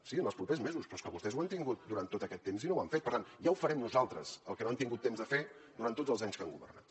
sí en els propers mesos però és que vostès ho han tingut durant tot aquest temps i no ho han fet per tant ja ho farem nosaltres el que no han tingut temps de fer durant tots els anys que han governat